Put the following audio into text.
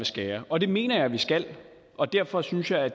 skære og det mener jeg at vi skal og derfor syntes jeg at